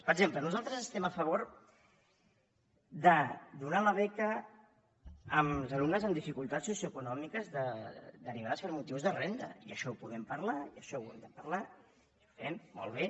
per exemple nosaltres estem a favor de donar la beca als alumnes amb dificultats socioeconòmiques derivades de motius de renda i això ho podem parlar i això ho hem de parlar i ho fem molt bé